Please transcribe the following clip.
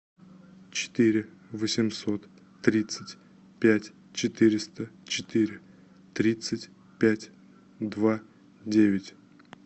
четыре восемьсот тридцать пять четыреста четыре тридцать пять два девять